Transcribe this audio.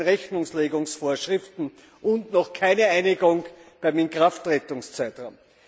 B. bei den Rechnungslegungsvorschriften und noch keine Einigung beim Inkrafttretungszeitraum.